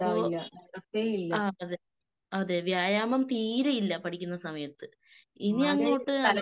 അപ്പോ ആഹ് അതെ അതെ വ്യായാമം തീരെ ഇല്ല പഠിക്കുന്ന സമയത്ത്. ഇനി അങ്ങോട്ട്